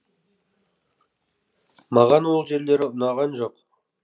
маған ол жерлері ұнаған жоқ